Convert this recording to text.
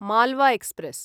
Malwa express